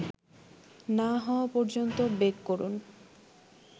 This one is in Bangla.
না হওয়া পর্যন্ত বেক করুন